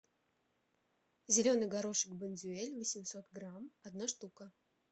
зеленый горошек бондюэль восемьсот грамм одна штука